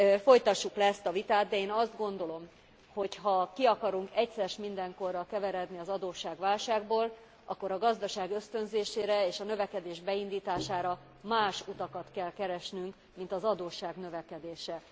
Folytassuk le ezt a vitát, de én azt gondolom, hogy ha ki akarunk egyszer s mindenkorra keveredni az adósságválságból, akkor a gazdaság ösztönzésére és a növekedés beindítására más utakat kell keresnünk, mint az adósság növekedése.